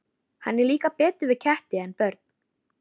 Henni líkar betur við ketti en börn.